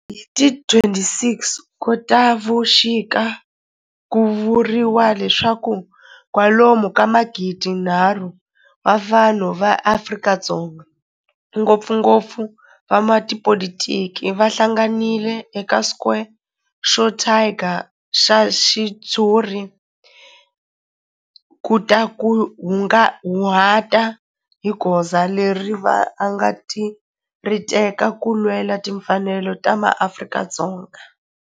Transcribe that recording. Hi ti 26 Khotavuxika ku vuriwa leswaku kwalomu ka magidinharhu wa vanhu va Afrika-Dzonga, ngopfungopfu van'watipolitiki va hlanganile eka square xo thyaka xa ritshuri ku ta kunguhata hi goza leri va nga ta ri teka ku lwela timfanelo ta maAfrika-Dzonga.